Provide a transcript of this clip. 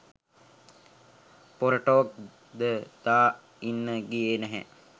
පොර ටෝක් ද දා ඉන්න ගියෙ නැහැ